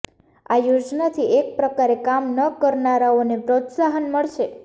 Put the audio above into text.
આ યોજનાથી એક પ્રકારે કામ ન કરનારાઓને પ્રોત્સાહન મળશે